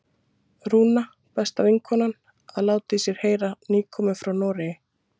Rúna, besta vinkonan, að láta í sér heyra, nýkomin frá Noregi!